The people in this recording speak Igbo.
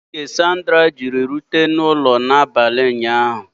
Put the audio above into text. Kedu oge Sandra Jiri rute n'ụlọ n'abalị ụnyaahụ?